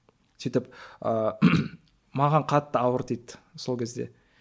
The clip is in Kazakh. сөйтіп ыыы маған қатты ауыр тиді сол кезде